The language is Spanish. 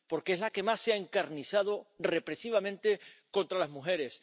porque es la que más se ha encarnizado represivamente contra las mujeres